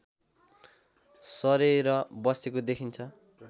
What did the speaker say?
सरेर बसेको देखिन्छ